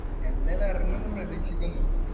എന്തായാലും ഇറങ്ങുമെന്ന് പ്രതീക്ഷിക്കുന്നു